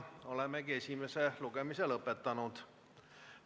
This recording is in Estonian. Olemegi esimese lugemise lõpetanud.